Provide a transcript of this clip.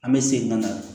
An bɛ segin ka na